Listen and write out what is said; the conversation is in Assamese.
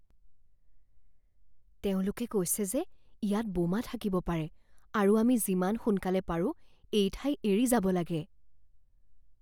তেওঁলোকে কৈছে যে ইয়াত বোমা থাকিব পাৰে আৰু আমি যিমান সোনকালে পাৰোঁ এই ঠাই এৰি যাব লাগে।